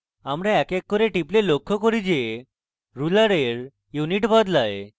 আমি এক এক করে টিপলে লক্ষ্য করি যে ruler unit বদলায়